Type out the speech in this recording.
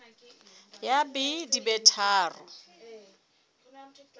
ya b di be tharo